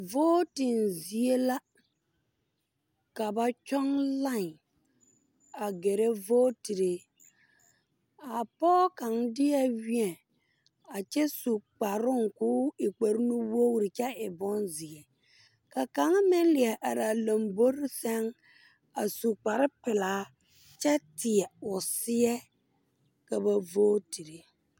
Vooten zie la. Ka baŋ kyong lien a gɛre vootere. A poge kang die wie a kyɛ su kparong koo e kparo nuwogre kyɛ e boŋ zie. Ka kanga meŋ lɛ are a lomboɔre seŋ a su kparo pulaa kyɛ teɛ o seɛ ka ba vootere.